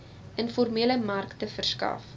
informele markte verskaf